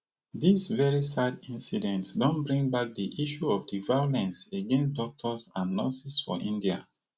dis very sad incident don bring back di issue of di violence against doctors and nurses for india